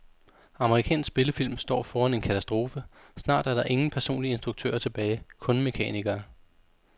Amerikansk spillefilm står foran en katastrofe, snart er der ingen personlige instruktører tilbage, kun mekanikere.